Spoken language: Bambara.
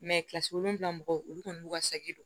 kilasi wolonwula mɔgɔw olu kɔni n'u ka saki don